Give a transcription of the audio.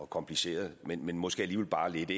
kompliceret men måske alligevel bare lidt